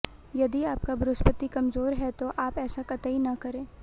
यदि आपका बृहस्पति कमजोर है तो आप ऐसा कतई न करे